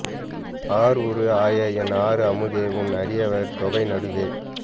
R உரு ஆய என் ஆர் அமுதே உன் அடியவர் தொகை நடுவே